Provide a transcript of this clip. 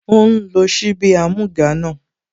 Ó ń lo ṣíbí amúga náà